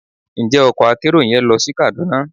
Njẹ ọkò akerò yẹn lo sí Kaduna?